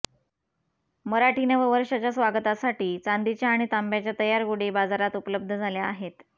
मराठी नववर्षाच्या स्वागतासाठी चांदीच्या आणि तांब्याच्या तयार गुढी बाजारात उपलब्ध झाल्या आहेत